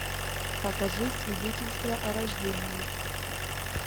покажи свидетельство о рождении